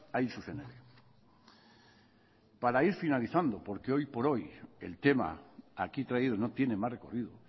hain zuzen ere para ir finalizando porque hoy por hoy el tema aquí traído no tiene más recorrido